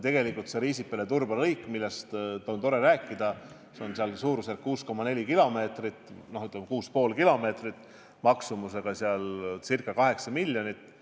Riisipere–Turba lõik, millest on tore rääkida, on 6,4 kilomeetrit pikk ning maksumusega ca 8 miljonit.